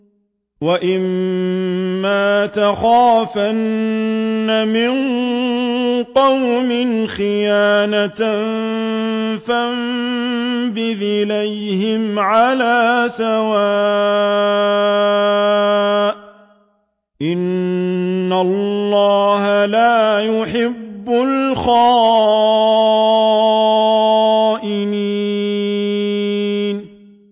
وَإِمَّا تَخَافَنَّ مِن قَوْمٍ خِيَانَةً فَانبِذْ إِلَيْهِمْ عَلَىٰ سَوَاءٍ ۚ إِنَّ اللَّهَ لَا يُحِبُّ الْخَائِنِينَ